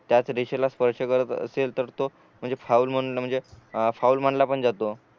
त्याचं रेषेला स्पर्श करत असेल तर तो म्हणजे फाऊल म्हण म्हणजे फाऊल मानला पण जातो